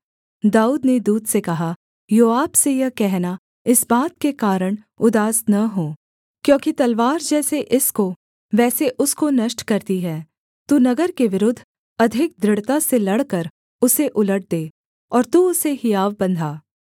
दाऊद ने दूत से कहा योआब से यह कहना इस बात के कारण उदास न हो क्योंकि तलवार जैसे इसको वैसे उसको नष्ट करती है तू नगर के विरुद्ध अधिक दृढ़ता से लड़कर उसे उलट दे और तू उसे हियाव बंधा